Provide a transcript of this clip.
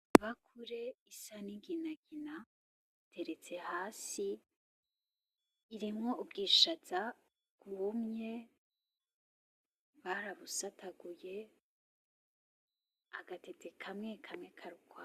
Ibakure isa n’inginagina iteretse hasi irimwo ubwishaza bwumye barabusataguye agatete kamwe kamwe kari ukwako.